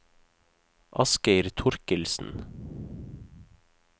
Asgeir Thorkildsen